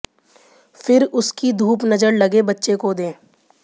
फिर उसकी धूप नजर लगे बच्चे को दें